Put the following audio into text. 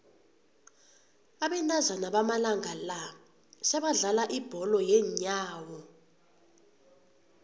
abentazana bamalanga la sebadlala ibholo yeenyawo